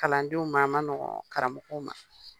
Kalandenw ma a man nɔgɔn karamɔgɔw ma